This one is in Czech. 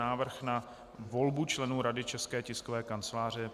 Návrh na volbu členů Rady České tiskové kanceláře